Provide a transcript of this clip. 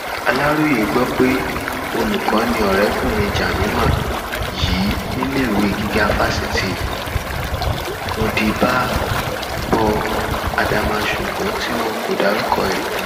aláròye gbọ pé olùkọ ni ọrẹkùnrin jamima yìí níléèwé gíga fásitì modibábo adama ṣùgbọn tí wọn kò dárúkọ ẹ